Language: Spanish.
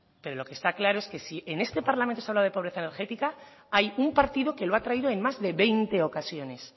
pero lo que está claro es que si en este parlamento se habla de pobreza energética hay un partido que lo ha traído en más de veinte ocasiones